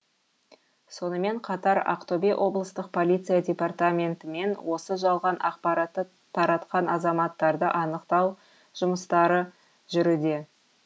сонымен қатар ақтөбе облыстық полиция департаментімен осы жалған ақпаратты таратқан азаматтарды анықтау жұмыстары жүруде